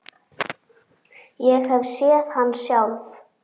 Ég hef séð hann sjálf!